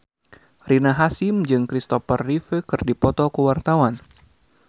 Rina Hasyim jeung Kristopher Reeve keur dipoto ku wartawan